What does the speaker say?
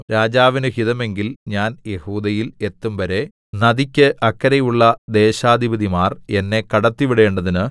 രാജാവിന് ഹിതമെങ്കിൽ ഞാൻ യെഹൂദയിൽ എത്തുംവരെ നദിക്ക് അക്കരെയുള്ള ദേശാധിപതിമാർ എന്നെ കടത്തിവിടേണ്ടതിന്